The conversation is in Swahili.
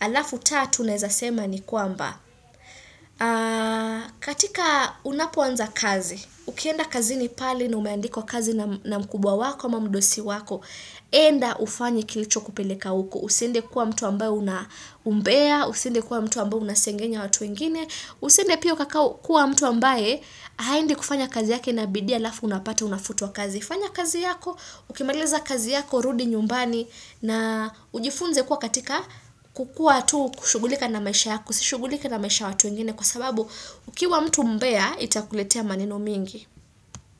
Alafu tatu naeza sema ni kwamba katika unapoanza kazi ukienda kazi ni pale na umeandikwa kazi na mkubwa wako ama mdosi wako, enda ufanye kilicho kupeleka uko usiende kuwa mtu ambayo una umbea, usiende kuwa mtu ambayo unasengenya watu wengine usiende pia kakau kuwa mtu ambaye haendi kufanya kazi yake na bidii alafu unapata unafutwa kazi, fanya kazi yako ukimaliza kazi yako, rudi nyumbani na ujifunze kuwa katika kukua tu kushugulika na maisha yako si shugulike na maisha watu wengine kwa sababu ukiwa mtu mbea itakuletea maneno mengi.